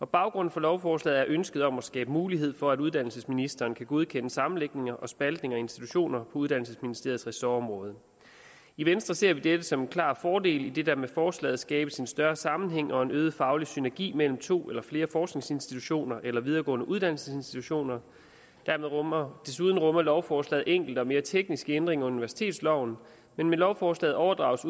baggrunden for lovforslaget er ønsket om at skabe mulighed for at uddannelsesministeren kan godkende sammenlægninger og spaltninger af institutioner uddannelsesministeriets ressortområde i venstre ser vi dette som en klar fordel idet der med forslaget skabes en større sammenhæng og en øget faglig synergi mellem to eller flere forskningsinstitutioner eller videregående uddannelsesinstitutioner desuden rummer lovforslaget enkelte og mere tekniske ændringer af universitetsloven men med lovforslaget overdrages